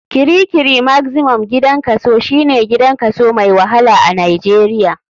Kirikiri maximum gidan kaso, shine gidan kaso mai wahala a nijeria.